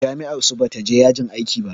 Jami'ar su bata je yajin aiki ba.